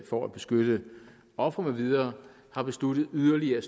for at beskytte ofre med videre har besluttet yderligere